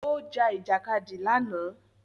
Ó ja Ìjàkadì lánàá